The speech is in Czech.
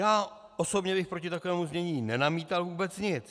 Já osobně bych proti takovému znění nenamítal vůbec nic.